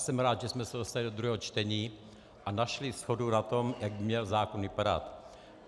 Jsem rád, že jsme se dostali do druhého čtení a našli shodu na tom, jak by měl zákon vypadat.